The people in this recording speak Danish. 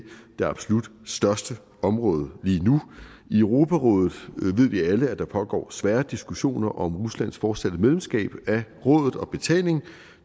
det absolut største område lige nu i europarådet ved vi alle der pågår svære diskussioner om ruslands fortsatte medlemskab af rådet og betalingen